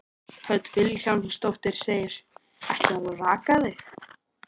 Hödd Vilhjálmsdóttir: Ætlarðu að raka þig?